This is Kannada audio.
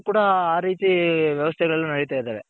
ಕೂಡ ಆ ರೀತಿ ವ್ಯವಸ್ಥೆ ಗಳ್ ನಡೀತಾ ಇದಾವೆ.